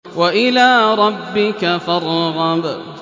وَإِلَىٰ رَبِّكَ فَارْغَب